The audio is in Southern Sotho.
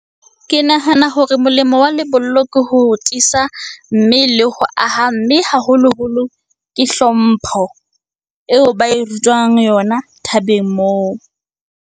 Ke nahana hore molemo wa lebollo ke ho tiisa mme le ho aha. Mme haholoholo, ke hlompho eo ba e rutwang yona thabeng moo.